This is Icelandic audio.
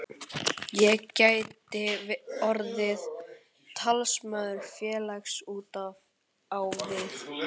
Ég gæti orðið talsmaður félagsins út á við.